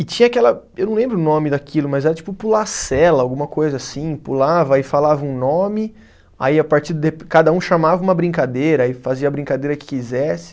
E tinha aquela, eu não lembro o nome daquilo, mas era tipo pular sela, alguma coisa assim, pulava, aí falava um nome, aí a partir de, cada um chamava uma brincadeira, aí fazia a brincadeira que quisesse.